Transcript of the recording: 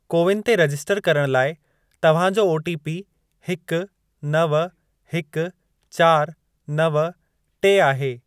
CoWIN ते register करण लाइ तव्हां जो ओटीपी हिक, नव, हिक, चारि, नव, टे आहे।